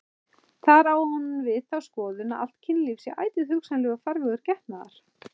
Þar á hún við þá skoðun að allt kynlíf sé ætíð hugsanlegur farvegur getnaðar.